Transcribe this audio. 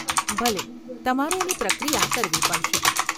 ભલે, તમારે એની પ્રક્રિયા કરવી પડશે.